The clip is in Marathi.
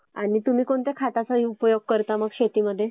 आणि तुम्ही कोणत्या खताचा उपयोग करता मग शेतीमध्ये?